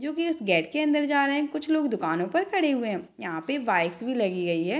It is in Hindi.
जो की इस गेट के अंदर जा रहे है कुछ लोग दुकानों पे खड़े हुए है यहां पे बाइक्स भी लगी गई है।